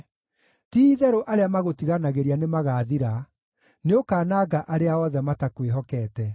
Ti-itherũ arĩa magũtiganagĩria nĩmagathira; nĩũkanangaga arĩa othe matakwĩhokete.